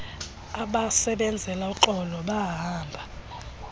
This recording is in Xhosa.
abasebenzela uxolo bahamba